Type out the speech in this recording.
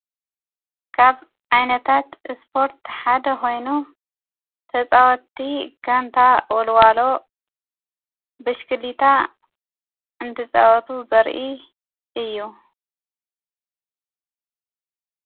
ካብ ዓይነታት እስፖርትተ ሓደ ኾይኑ ተፃወቲ ጋንታ ወልዋሎ ብሽክሊታ እንቲፃወቱ ዘርኢ እዩ።